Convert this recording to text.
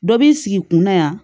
Dɔ b'i sigi kunna yan